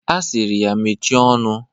Ọ sịrị ya mechie ọnụ.